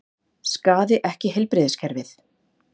Skaði ekki heilbrigðiskerfið